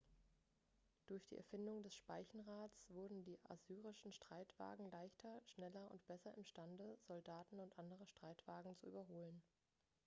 durch die erfindung des speichenrads wurden die assyrischen streitwagen leichter schneller und besser imstande soldaten und andere streitwagen zu überholen